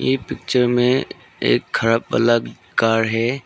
ये पिक्चर में एक खराब वाला कार है